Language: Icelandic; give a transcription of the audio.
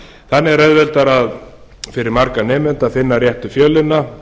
þannig er auðveldara fyrir marga nemendur að finna réttu fjölina